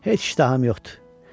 Heç iştahım yoxdur.